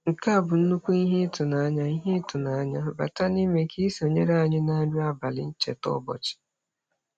Nke a bụ nnukwu ihe ịtụnanya - ihe ịtụnanya - bata n'ime ka ị sonyere anyị na nri abalị ncheta ụbọchị.